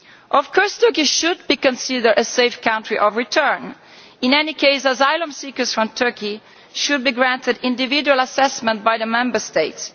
Of course, Turkey should be considered a safe country of return, but asylum seekers from Turkey should be granted individual assessment by the Member States.